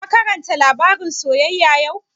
Ka karanta labarin soyyaya yau?